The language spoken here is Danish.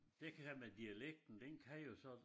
Det her med dialekten den kan jo så